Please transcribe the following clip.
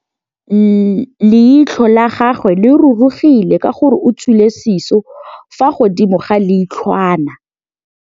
Leitlhô la gagwe le rurugile ka gore o tswile sisô fa godimo ga leitlhwana.